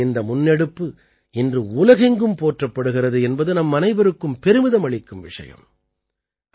பாரதத்தின் இந்த முன்னெடுப்பு இன்று உலகெங்கும் போற்றப்படுகிறது என்பது நம்மனைவருக்கும் பெருமிதம் அளிக்கும் விஷயம்